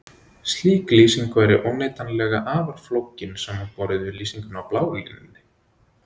Slík lýsing væri óneitanlega afar flókin samanborið við lýsinguna á bláu línunni.